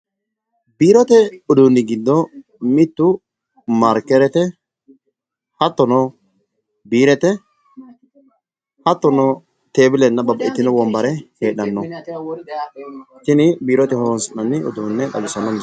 Biirote uduunni giddo mittu maarkerete, hattono biirete hattono, tebilenna babbaxxitino wonbare heedhanno, tini biirote horonsi'nanni uduunne xawisanno.